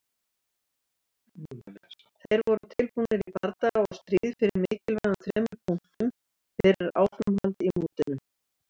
Þeir voru tilbúnir í bardaga og stríð fyrir mikilvægum þremur punktum fyrir áframhald í mótinu.